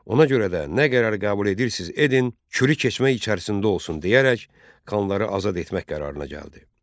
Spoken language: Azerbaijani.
Ona görə də nə qərar qəbul edirsiz edin, Kürü keçmək içərisində olsun deyərək, xanları azad etmək qərarına gəldi.